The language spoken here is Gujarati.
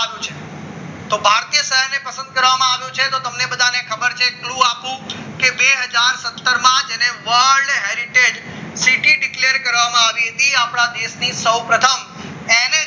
સંદ કરવામાં આવ્યું છે તમને બધાને ખબર છે તું આપુ કે બે હજાર સત્તર જેને world heritage સીટી ડિકલેર કરવામાં આવી હતી આપના દેશની સૌપ્રથમ એને